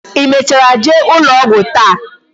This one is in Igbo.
Ị mechara jee ụlọ ọgwụ taa?